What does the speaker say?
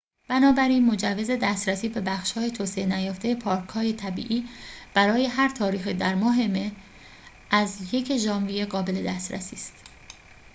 بنابراین مجوز دسترسی به بخش‌های توسعه نیافته پارک‌های طبیعی برای هر تاریخی در ماه مه از ۱ ژانویه قابل دسترسی است